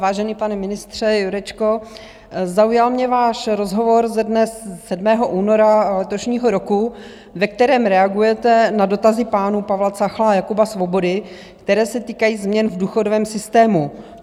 Vážený pane ministře Jurečko, zaujal mě váš rozhovor ze dne 7. února letošního roku, ve kterém reagujete na dotazy pánů Pavla Cechla a Jakuba Svobody, které se týkají změn v důchodovém systému.